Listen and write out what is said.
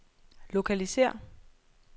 lokalisér